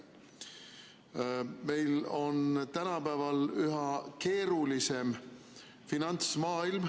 Meie finantsmaailm on tänapäeval üha keerulisem.